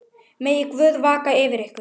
Megi Guð vaka yfir ykkur.